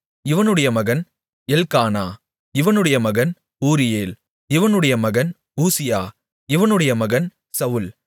இவனுடைய மகன் எல்க்கானா இவனுடைய மகன் ஊரியேல் இவனுடைய மகன் ஊசியா இவனுடைய மகன் சவுல்